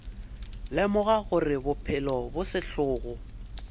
lemoga gore bophelo bo sehlogo